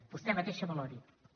vostè mateixa valori ho